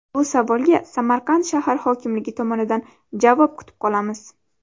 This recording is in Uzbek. Bu savolga Samarqand shahar hokimligi tomonidan javob kutib qolamiz.